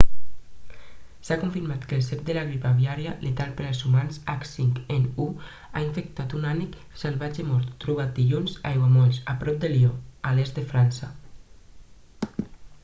s'ha confirmat que el cep de la grip aviària letal per als humans h5n1 ha infectat un ànec salvatge mort trobat dilluns a aiguamolls a prop de lió a l'est de frança